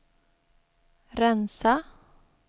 rensa